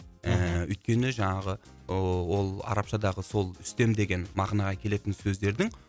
ііі өйткені жаңағы ы ол арабшадағы сол үстем деген мағынаға келетін сөздердің